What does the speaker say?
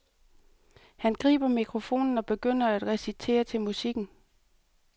Han griber mikrofonen og begynder at recitere til musikken.